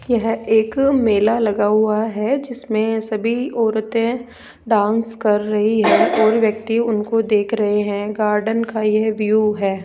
यह एक मेला लगा हुआ है जिसमें सभी औरते डांस कर रही है और व्यक्ति उनको देख रहे है गार्डन का यह व्यू है।